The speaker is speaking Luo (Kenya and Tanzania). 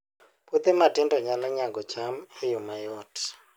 Puothe matindo nyalo nyago cham e yo mayot